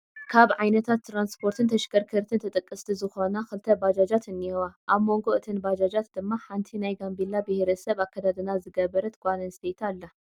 ካብ ዓይነታት ትራንስፖርትን ተሽከርከርትን ተጠቀስቲ ዝኾና 2 ባጃጃት እኒሀዋ፡፡ ኣብ ሞንጎ እተን ባጃጃት ድማ ሓንቲ ናይ ጋምቤላ ቢሄረ ሰብ ኣከዳድና ዝገበረት ጓል ኣነስተይቲ ኣላ፡፡